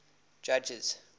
judges